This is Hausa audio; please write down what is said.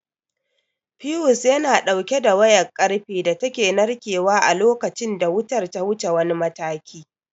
Fiyus yana ɗauke da wayar ƙarfe da take narkewa a lokacin da wutar ta wuce wani mataki.